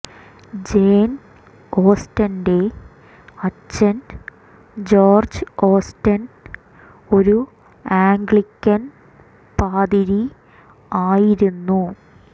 Jane ഓസ്റ്റന്റെ അച്ഛൻ George Austen ഒരു ആംഗ്ലിക്കൻ പാതിരി ആയിരുന്നു